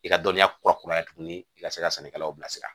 I ka dɔnniya kura kuraya tuguni i ka se ka sannikɛlaw bilasira